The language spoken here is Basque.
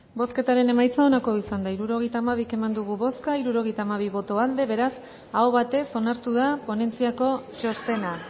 bozketaren emaitza onako izan da hirurogeita hamabi eman dugu bozka hirurogeita hamabi boto aldekoa beraz aho batez onartu da ponentziako txostena